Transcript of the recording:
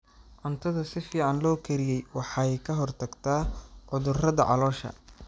Cuntada si fiican loo kariyey waxay ka hortagtaa cudurrada caloosha.